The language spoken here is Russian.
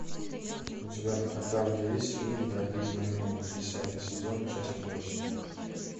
у тебя в каталоге есть фильм благие знамения десятый сезон часть восемь